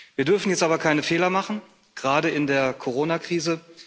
Wir dürfen jetzt aber keine Fehler machen, gerade in der Coronakrise.